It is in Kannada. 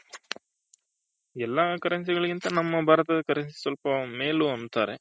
ಎಲ್ಲ Currency ಗಳಿಗಿಂತ ನಮ್ಮ ಭಾರತದ Currency ಸ್ವಲ್ಪ ಮೇಲು ಅಂತಾರೆ.